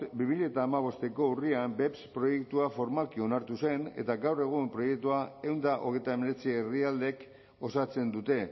bi mila hamabosteko urrian beps proiektua formalki onartu zen eta gaur egun proiektua ehun eta hogeita hemeretzi herrialdek osatzen dute